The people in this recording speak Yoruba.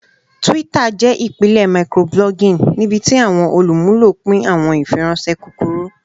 Twitter jẹ ipilẹ microblogging nibiti awọn olumulo pin awọn ifiranṣẹ kukuru.